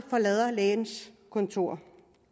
lægens kontor